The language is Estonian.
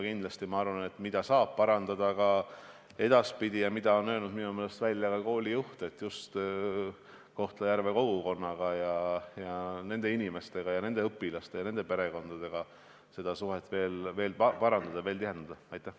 Küll aga arvan ma, et see, mida edaspidi saab parandada – ja seda on minu meelest öelnud ka kooli juht –, on suhted Kohtla-Järve kogukonnaga, sealsete inimestega, õpilaste perekondadega, muuta need suhted veel tihedamaks.